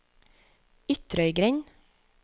Ytrøygrend